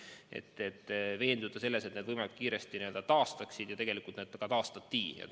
Me tahtsime veenduda, et need võimalikult kiiresti taastatakse, ja tegelikult need taastati.